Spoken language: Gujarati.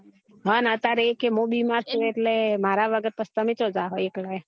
હ ને અતારે એ કે મુ બિમાર છુ એટલે મારા વગર પછી તમે ચો જાહો એકલા